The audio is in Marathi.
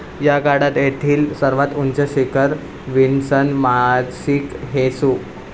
या काळात येथील सर्वात उंच शिखर विन्सन मासिक हे सु.